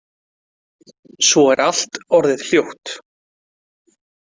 Svo er allt orðið hljótt.